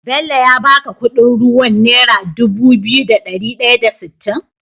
Bello ya baka Ƙudin ruwan naira Dubu biyu da dari daya da sitin?